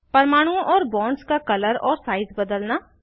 परमाणुओं और बॉन्ड्स का कलर और साइज बदलना